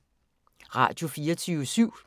Radio24syv